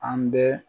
An bɛ